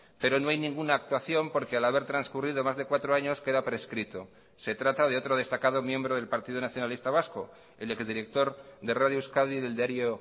pero no hay ninguna actuación porque al haber transcurrido más de cuatro años queda prescrito se trata de otro destacado miembro del partido nacionalista vasco el ex director de radio euskadi y del diario